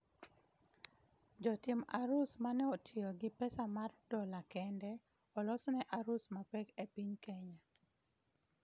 jo tim arus maneotiyo gi pesa mar dola kende olos ne arus mapek e piny Kenya